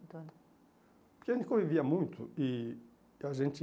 Porque a gente convivia muito e a gente